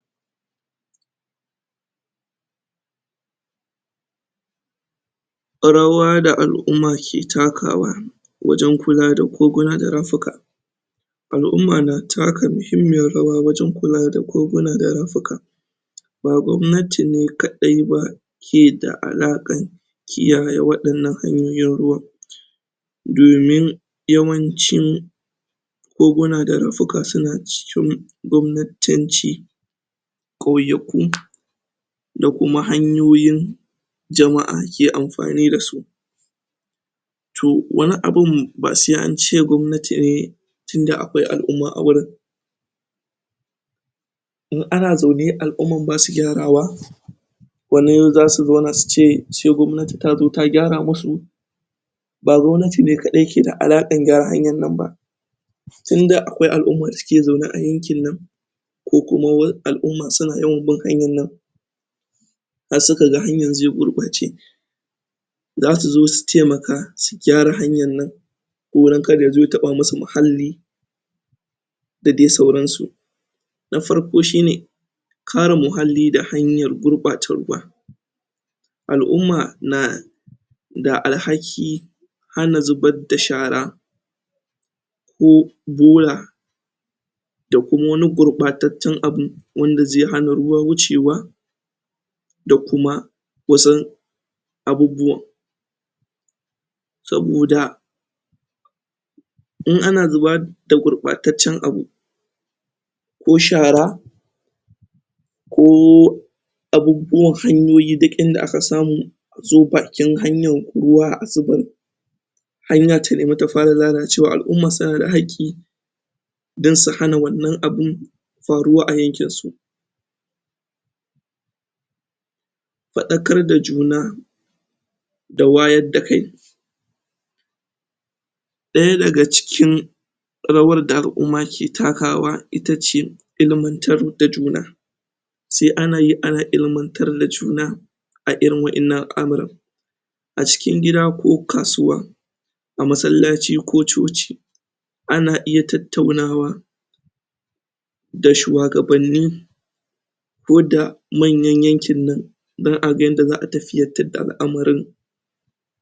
rawa da al'uma ke takawa wajen kula da koguna da rafuka al'uma na taka mahimmiyar rawa wajen kula da koguna da rafuka ba gwamnati ne kaɗai ba ke da alaƙan kiyaye waɗannan hanyoyin ruwan domin yawancin koguna da rafuka suna cikin gwamnatanci ƙauyaku da kuma hanyoyin jama'a ke amfani dasu to wani abun ba sai ance gwamnati ne tinda akwai al'umma a wurin in ana zaune al'uman basu gyarawa wanan zasu zauna su ce sai gwamnati tazo ta gyara musu ba gwamnati kaɗai ke da alaƙan gyara hanyan nan ba tinda akwai al'uma da suke zaune a yankin nan ko kuma wa al'uma suna yawan bin hanyan nan har suka ga hanyan ze gurɓace zasu zo su taimaka su gyara hanyan nan ko dan kar yazo ya taɓa musu mahalli da de sauransu na farko shine kare muhalli da hanyar gurɓata ruwa al'umma na da alhaki hana zubad da shara ko bola da kuma wani gurɓataccen abu wanda ze hana ruwa wucewa da kuma wasun abubbuwan saboda in ana zubar da gurɓataccen abu ko shara ko abubbuwan hanyoyi duk inda aka samu azo bakin hanyan ruwa a zubar hanya ta nemi ta fara lalacewa al'umma suna da haƙƙi dan su hana wannan abu faruwa a yankinsu faɗakar da juna da wayar da kai ɗaya daga cikin rawar da al'uma ke takawa itace ilimantar da juna sai ana yi ana ilmantar da juna a irin wa'innan amuran a cikin gida ko kasuwa a masallaci ko coci ana iya tattaunawa da shuwagabanni ko da manyan yankin nan don a ga yadda za'a tafiyar da al'amarin